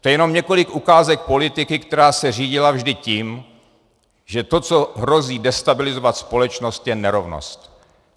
To je jenom několik ukázek politiky, která se řídila vždy tím, že to, co hrozí destabilizovat společnost, je nerovnost.